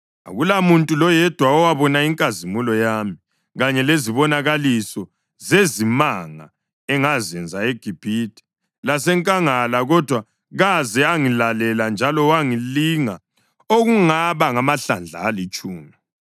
akulamuntu loyedwa owabona inkazimulo yami kanye lezibonakaliso zezimanga engazenza eGibhithe lasenkangala kodwa kaze angilalela njalo wangilinga okungaba ngamahlandla alitshumi,